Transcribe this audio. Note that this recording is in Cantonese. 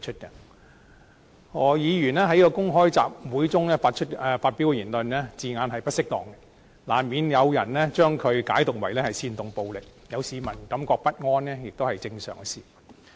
何議員在公開集會中發表的言論，字眼並不適當，難免有人將它解讀為煽動暴力，有市民感到不安也是正常的事。